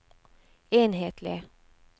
enhetlig